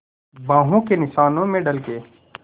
बाहों के निशानों में ढल के